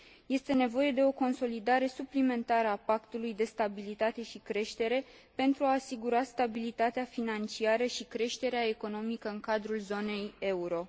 Este nevoie de o consolidare suplimentară a Pactului de stabilitate și creștere, pentru a asigura stabilitatea financiară și creșterea economică în cadrul zonei euro.